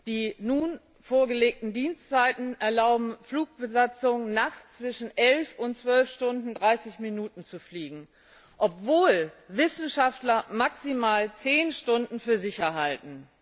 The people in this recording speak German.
Die nun vorgelegten Dienstzeiten erlauben Flugbesatzungen nachts zwischen elf und zwölf Stunden und dreißig Minuten zu fliegen, obwohl Wissenschaftler maximal zehn Stunden für sicher halten.